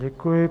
Děkuji.